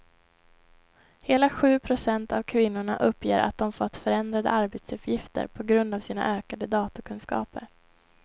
Hela sju procent av kvinnorna uppger att de fått förändrade arbetsuppgifter på grund av sina ökade datorkunskaper.